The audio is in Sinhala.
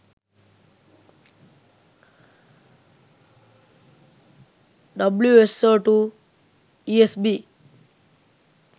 wso2 esb